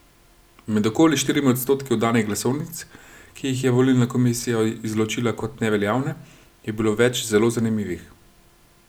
Med okoli štirimi odstotki oddanih glasovnic, ki jih je volilna komisija izločila kot neveljavne, je bilo več zelo zanimivih.